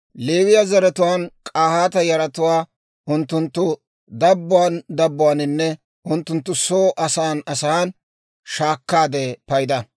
«Leewiyaa zaratuwaan K'ahaata yaratuwaa unttunttu dabbuwaan dabbuwaaninne unttunttu soo asan asan shaakkaade payda;